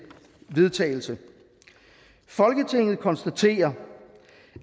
vedtagelse folketinget konstaterer